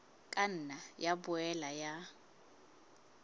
ka nna ya boela ya